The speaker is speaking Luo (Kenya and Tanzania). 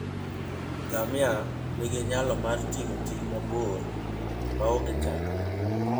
Ngamia nigi nyalo mar ting'o ting' mabor maonge chandruok.